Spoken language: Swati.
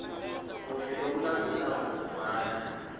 kunye kulokulandzelako ubhale